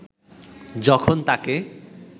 যখন তাকে